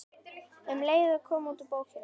Um leið kom út bókin